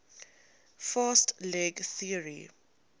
fast leg theory